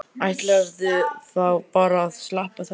Ætlarðu þá bara að sleppa þessu?